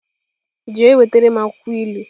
Jee wetara m akwukwo ilu!